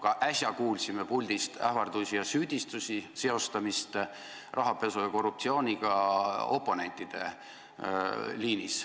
Ka äsja kuulsime puldist ähvardusi ja süüdistusi, oponentide seostamist rahapesu ja korruptsiooniga.